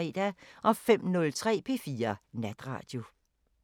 05:03: P4 Natradio